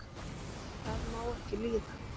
það má ekki líða